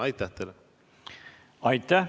Aitäh!